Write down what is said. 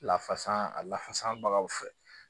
Lafasa a lafasabagaw fɛ